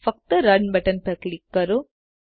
ફક્ત run button પર click કરો